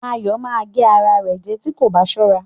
Ayọ̀ ma gé ara rẹ̀ jẹ́ tí kò bá sọra